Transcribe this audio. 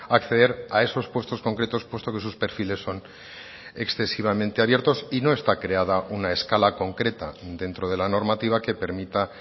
acceder a esos puestos concretos puesto que sus perfiles son excesivamente abiertos y no está creada un a escala concreta dentro de la normativa que permita